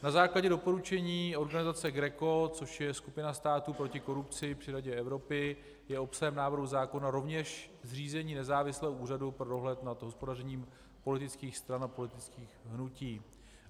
Na základě doporučení organizace GRECO, což je Skupina států proti korupci při Radě Evropy, je obsahem návrhu zákona rovněž zřízení nezávislého úřadu pro dohled nad hospodařením politických stran a politických hnutí.